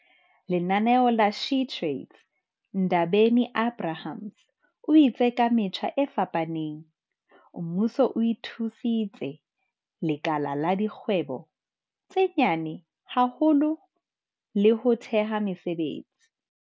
Lenaneo la SheTrades Ndabeni-Abrahams o itse ka metjha e fapaneng, mmuso o thusitse lekala la dikgwebo tse nyane ho hola le ho theha mesebetsi."